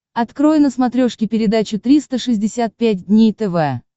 открой на смотрешке передачу триста шестьдесят пять дней тв